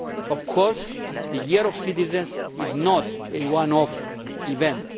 Of course, the European Year of Citizens is not a one off event.